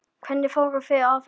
Hvernig fóruð þið að þessu?